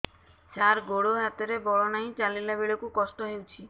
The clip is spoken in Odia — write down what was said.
ସାର ଗୋଡୋ ହାତରେ ବଳ ନାହିଁ ଚାଲିଲା ବେଳକୁ କଷ୍ଟ ହେଉଛି